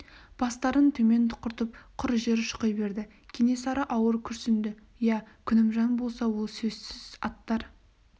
бастарын төмен тұқыртып құр жер шұқи берді кенесары ауыр күрсінді иә күнімжан болса ол сөзсіз аттар